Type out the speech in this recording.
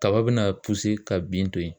Kaba bɛna ka bin to ye.